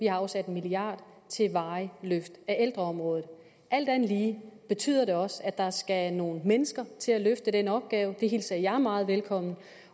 afsat en milliard kroner til et varigt løft af ældreområdet alt andet lige betyder det også at der skal nogle mennesker til at løfte den opgave og det hilser jeg meget velkommen